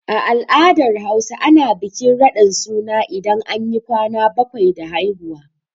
A al'adar Hausa, ana bikin raɗin suna idan anyi ƙwana baƙwai da haihuwa.